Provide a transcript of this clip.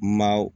Maaw